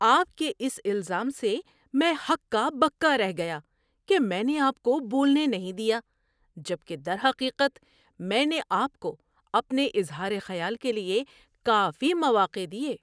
آپ کے اس الزام سے میں ہکا بکا رہ گیا کہ میں نے آپ کو بولنے نہیں دیا جب کہ درحقیقت میں نے آپ کو اپنے اظہار خیال کے لیے کافی مواقع دیے۔